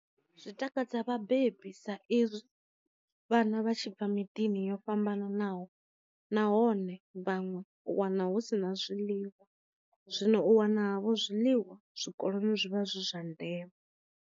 Zwi takadza vhabebi sa i zwi vhana vha tshi bva miḓini yo fhambananaho nahone vhaṅwe u wana hu si na zwiḽiwa, zwino u wana vho zwiḽiwa zwikoloni zwivha zwi zwa ndeme.